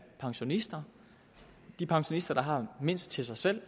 pensionister de pensionister der har mindst til sig selv